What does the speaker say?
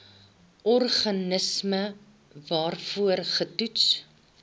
organisme waarvoor getoets